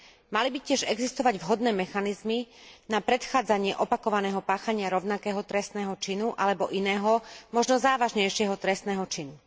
Mali by tiež existovať vhodné mechanizmy na predchádzanie opakovaného páchania rovnakého trestného činu alebo iného možno závažnejšieho trestného činu.